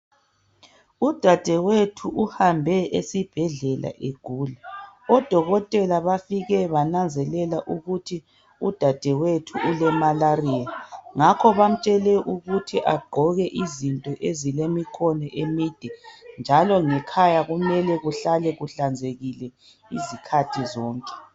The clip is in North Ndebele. Udadewethu uhambe esibhedlela egula. Odokotela bafike bananzelela ukuthi udadewethu ule malaria .Ngakho bamtshele ukuthi agqoke izinto ezilemikhono emide .Njalo ngekhaya kumele kuhlale kuhlanzekile izikhathi zonke .